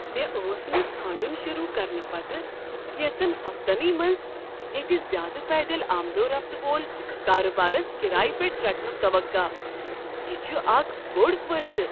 مےٚ ٲس نہٕ ژھانٛڈن شروع کرنہٕ پتہٕ کینژن ہفتنٕے منٛز ییتہٕ زیٛادٕ پیدل آمد و رفت وول کارٕبارس کرایہ پیٹھ رٹنٕک توقع، یہ چھ اکھ بوٚڑ فأیدٕ